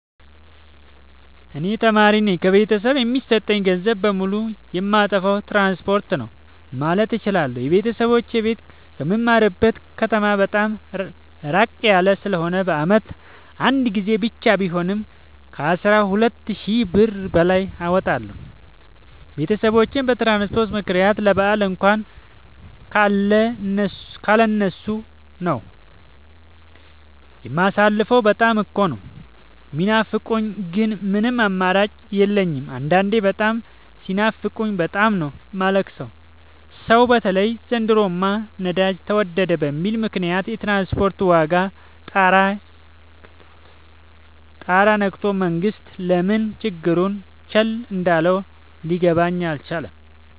እኔ ተማሪነኝ ከቤተሰብ የሚሰጠኝን ገንዘብ በሙሉ ጨየማጠፋው ትራንስፖርት ነው። ማለት እችላለሁ። የቤተሰቦቼ ቤት ከምማርበት ከተማ በጣም እራቅ ያለ ስለሆነ በአመት አንድ ጊዜ ብቻ ቢሆንም ከአስራ ሁለት ሺ ብር በላይ አወጣለሁ። ቤተሰቦቼን በትራንስፖርት ምክንያት ለበአል እንኳን ካለ እነሱ ነው። የማሳልፈው በጣም እኮ ነው። የሚናፍቁኝ ግን ምንም አማራጭ የለኝም አንዳንዴ በጣም ሲናፍቁኝ በጣም ነው የማለቅ ሰው በተለይ ዘንድሮማ ነዳጅ ተወደደ በሚል ምክንያት የትራንስፖርት ዋጋ ጣራ የክቶል መንግስት ለምን ችግሩን ቸል እንዳለው ሊገባኝ አልቻለም።